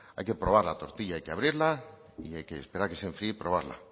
hay que probar la tortilla hay que abrirla y hay que esperar a que se enfríe y probarla